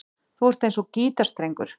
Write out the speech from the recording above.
Þú ert eins og gítarstrengur.